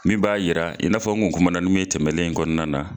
Min b'a yira i n'afɔ nkun kumana mun ye tɛmɛnlen in kɔnɔna na.